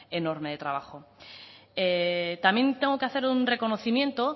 enorme de trabajo también tengo que hacer un reconocimiento